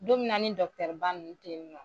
Don min na ni ba nn te yen nɔ